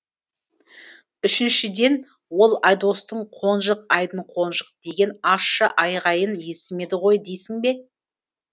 үшіншіден ол айдостың қонжық айдын қонжық деген ащы айғайын естімеді ғой дейсің бе